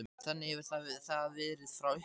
Þannig hefur það verið frá upphafi.